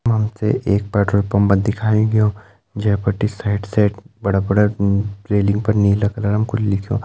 यख हम ते एक पेट्रोल पंप दिखाईं गयो जै बटी साइड साइड बड़ा बड़ा म-रेलिंग पर नीला कलरम कुछ लिख्युं।